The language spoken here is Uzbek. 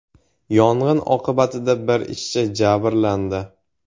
Yong‘in oqibatida bir ishchi jabrlandi.